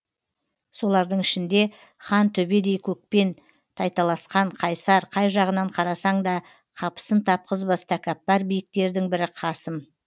солардың ішінде хан төбедей көкпен тайталасқан қайсар қай жағынан қарасаң да қапысын тапқызбас тәкаппар биіктердің бірі қасым